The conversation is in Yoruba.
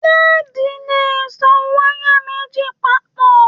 Leedi lè so wayà méjì papọ.